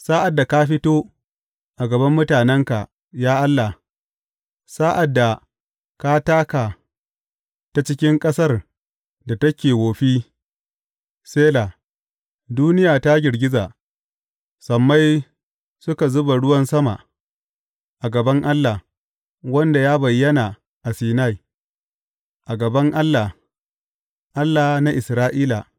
Sa’ad da ka fito a gaban mutanenka, ya Allah, sa’ad da ka taka ta cikin ƙasar da take wofi, Sela duniya ta girgiza, sammai suka zuba ruwan sama, a gaban Allah, wanda ya bayyana a Sinai, a gaban Allah, Allah na Isra’ila.